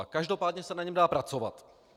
A každopádně se na něm dá pracovat.